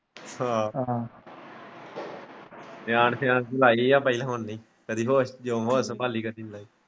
ਨਿਆਣ ਸਿਆਣ ਚ ਹੀ ਲਾਈ ਹੈ ਪਰ ਹੁਣ ਨਹੀਂ ਜਦੋਂ ਹੋਸ ਹੋਸ ਸੰਭਾਲੀ ਹੈ .